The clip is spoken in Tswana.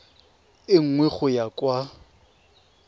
e nngwe go ya kwa